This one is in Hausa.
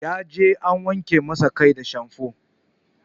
Ya je an wanke masa kai da shamfo